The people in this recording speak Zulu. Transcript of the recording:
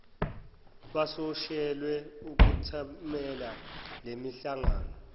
basoshelwe ukwethamela lemihlangano